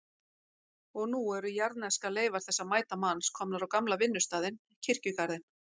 Og nú eru jarðneskar leifar þessa mæta manns komnar á gamla vinnustaðinn, kirkjugarðinn.